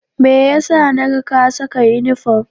Me ya sa na ga ka saka inifom?